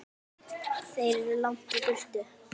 Þeir eru langt í burtu.